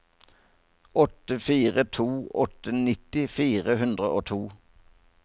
åtte fire to åtte nitti fire hundre og to